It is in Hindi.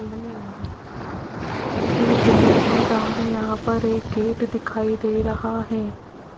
इस इमेज में सामने यहां पर एक गेट दिखाई दे रहा है।